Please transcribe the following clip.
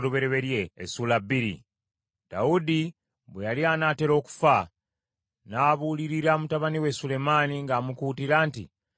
Dawudi bwe yali anaatera okufa, n’abuulirira mutabani we Sulemaani ng’amukuutira nti,